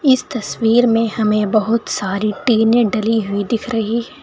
इस तस्वीर में हमें बहुत सारी टीने डली हुई दिख रही--